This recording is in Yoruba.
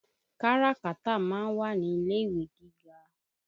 Káràkátà ma ń wà ní ilé-ìwé gíga.